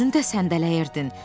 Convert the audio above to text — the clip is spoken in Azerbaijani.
Özün də səndələyirdin.